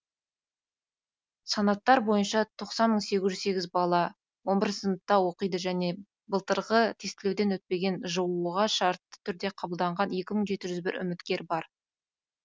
санаттар бойынша тоқсан мың сегіз жүз сегіз бала он бірінші сыныпта оқиды және былтырғы тестілеуден өтпеген жоо ға шартты түрде қабылданған екі мың жеті жүз бір үміткер бар